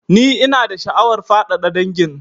Ni ina da sha'awar faɗaɗa dangin